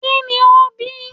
ki ní o bí